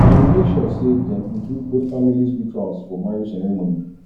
dem make sure say dem include both families rituals for marriage ceremony